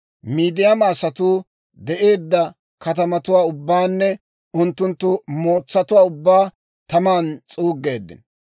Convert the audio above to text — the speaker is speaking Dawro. Midiyaama asatuu de'eedda katamatuwaa ubbaanne unttunttu mootsatuwaa ubbaa taman s'uuggeeddino.